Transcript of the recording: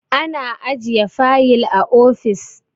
ana ajiye fayil a ofis